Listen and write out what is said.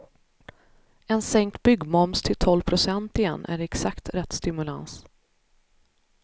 En sänkt byggmoms till tolv procent igen är exakt rätt stimulans.